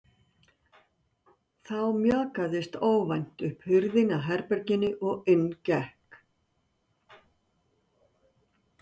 Þá mjakaðist óvænt upp hurðin að herberginu og inn gekk